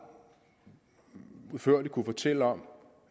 udførligt kunne fortælle om